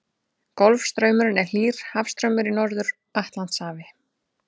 Golfstraumurinn er hlýr hafstraumur í Norður-Atlantshafi.